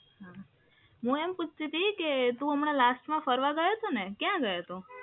હું એમ પૂછતી હતી કે તું હમણાં લાસ્ટમાં ફરવા ગયો હતોને, કયા ગયો હતો?